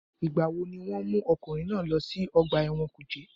Ìgbà wo ni wọ́n mú ọkùnrin náà lọ sí ọgbà ẹ̀wọ̀n kùjé?